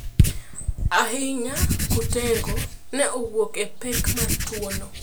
Ahinya kutego ne owuok e pek mar tuono.